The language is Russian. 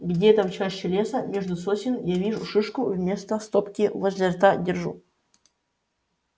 где-то в чаще леса между сосен я вижу шишку вместо стопки возле рта держу